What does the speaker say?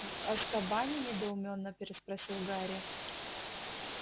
в азкабане недоумённо переспросил гарри